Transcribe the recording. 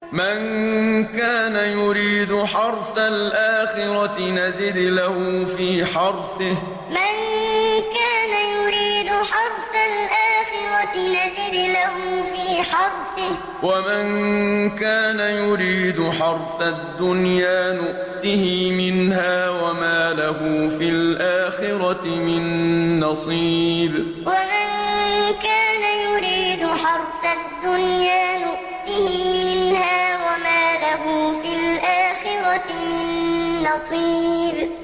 مَن كَانَ يُرِيدُ حَرْثَ الْآخِرَةِ نَزِدْ لَهُ فِي حَرْثِهِ ۖ وَمَن كَانَ يُرِيدُ حَرْثَ الدُّنْيَا نُؤْتِهِ مِنْهَا وَمَا لَهُ فِي الْآخِرَةِ مِن نَّصِيبٍ مَن كَانَ يُرِيدُ حَرْثَ الْآخِرَةِ نَزِدْ لَهُ فِي حَرْثِهِ ۖ وَمَن كَانَ يُرِيدُ حَرْثَ الدُّنْيَا نُؤْتِهِ مِنْهَا وَمَا لَهُ فِي الْآخِرَةِ مِن نَّصِيبٍ